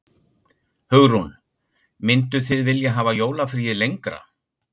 Hugrún: Mynduð þið vilja hafa jólafríið lengra?